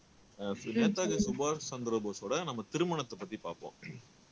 சுபாஷ் சந்திர போஸோட நம்ம திருமணத்தை பத்தி பார்ப்போம்